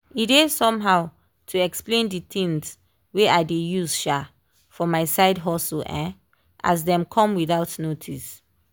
e dey somehow to explain the things wey i dey use um for my side hustle um as dem come without notice